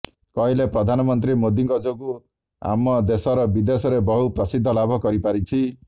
କହିଲେ ପ୍ରଧାନମନ୍ତ୍ରୀ ମୋଦିଙ୍କ ଯୋଗୁଁ ଆମ ଦେଶର ବିଦେଶରେ ବହୁ ପ୍ରସିଦ୍ଧି ଲାଭ କରିପାରିଛି